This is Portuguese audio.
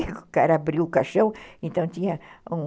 O cara abriu o caixão, então tinha um...